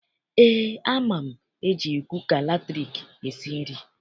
Eé, ama m eji kuka latriki esi nri.